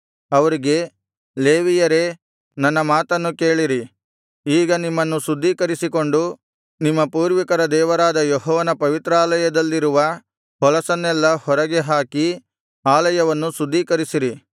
ಅವರಿಗೆ ಲೇವಿಯರೇ ನನ್ನ ಮಾತನ್ನು ಕೇಳಿರಿ ಈಗ ನಿಮ್ಮನ್ನು ಶುದ್ಧೀಕರಿಸಿಕೊಂಡು ನಿಮ್ಮ ಪೂರ್ವಿಕರ ದೇವರಾದ ಯೆಹೋವನ ಪವಿತ್ರಾಲಯದಲ್ಲಿರುವ ಹೊಲಸನ್ನೆಲ್ಲಾ ಹೊರಗೆ ಹಾಕಿ ಆಲಯವನ್ನು ಶುದ್ಧೀಕರಿಸಿರಿ